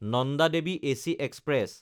Nanda Devi AC express